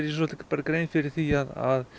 okkur grein fyrir því að